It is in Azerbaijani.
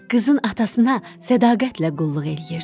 Qızın atasına sədaqətlə qulluq eləyirdi.